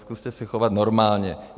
Zkuste se chovat normálně.